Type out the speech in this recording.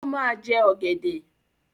O máa jẹ ọ̀gẹ̀dẹ̀.